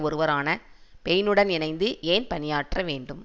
ஒருவரான பெயினுடன் இணைந்து ஏன் பணியாற்ற வேண்டும்